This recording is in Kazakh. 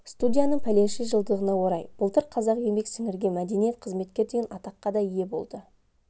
студияның пәленше жылдығына орай былтыр қазақ еңбек сіңірген мәдениет қызметкер деген атаққа да ие болды